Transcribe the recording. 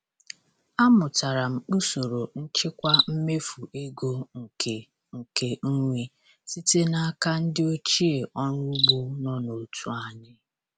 Amụtara m usoro nchịkwa mmefu ego nke nke nri site n'aka ndị ochie ọrụ ugbo nọ n'otu anyị.